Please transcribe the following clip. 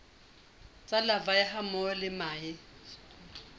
tsa larvae hammoho le mahe